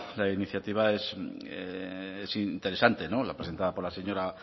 la iniciativa es interesante no la presentada por la señora